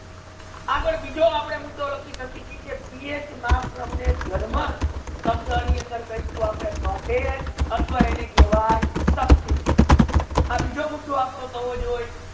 આગાડ આપડે બિજો મુદ્દો લાખી સાકે ચિયે કે પીએચ મા જર્મન શબ્દ ની અંદર કેહસુ પ્રોટન આથવા શક્તિ આ બીજો મુદ્દો થવો જોયે